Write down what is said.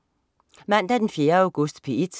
Mandag den 4. august - P1: